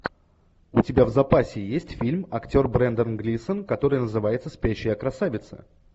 у тебя в запасе есть фильм актер брендан глисон который называется спящая красавица